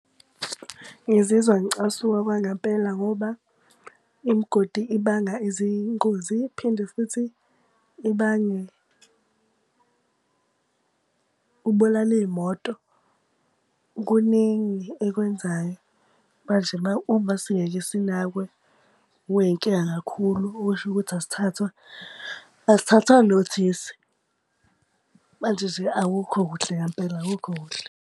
Ngizizwa ngicasuka okwangempela ngoba imigodi ibanga izingozi, iphinde futhi ibange, ibulale iy'moto. Kuningi ekwenzayo. Manje uma singeke sinakwe kuba yinkinga kakhulu okusho ukuthi esithathwa, asithathwa nothisi. Manje nje akukho kuhle ngampela, akukho kuhle.